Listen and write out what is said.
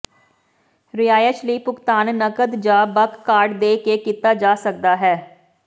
ਰਿਹਾਇਸ਼ ਲਈ ਭੁਗਤਾਨ ਨਕਦ ਜ ਬਕ ਕਾਰਡ ਦੇ ਕੇ ਕੀਤਾ ਜਾ ਸਕਦਾ ਹੈ